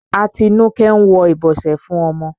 Atinúké ń wọ ìbọsẹ̀ fún ọmọ.